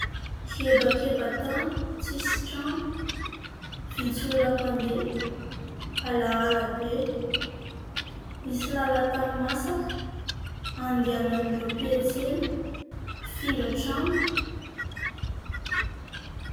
Hebakeba-tany tsisy trano, vitsy olona mpandeha, alahala be misy lala-tany masaka andehanan'ireo mpiantsena sy mpifindra trano.